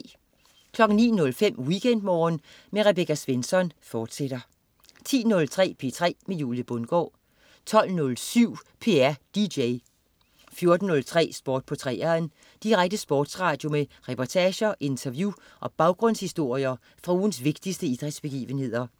09.05 WeekendMorgen med Rebecca Svensson, fortsat 10.03 P3 med Julie Bundgaard 12.07 P3 DJ 14.03 Sport på 3'eren. Direkte sportsradio med reportager, interview og baggrundshistorier fra ugens vigtigste idrætsbegivenheder